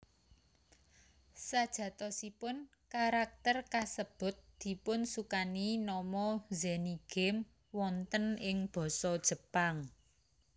Sajatosipun karakter kasebut dipunsukani nama Zenigame wonten ing basa Jepang